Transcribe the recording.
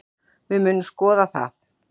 Við munum skoða það.